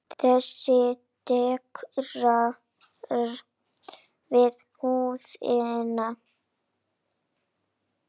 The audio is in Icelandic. Þessi dekrar við húðina.